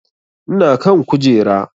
Ina kan kujera